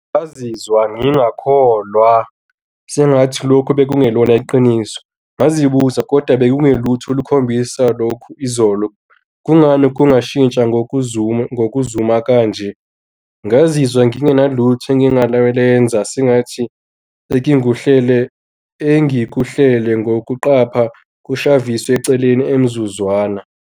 Ngazizwa ngingakholwa sengathi lokhu bekungelona iqiniso. Ngazibuzwa, kodwa bekungelutho olukhombisa lokhu izolo. Kungani kungashintsha ngokuzuma ngokuzuma kanje ngazizwa ngingenalutho engingalenza sengathi engikuhlele engikuhlele ngokuqapha kushaviswe eceleni emzuzwana.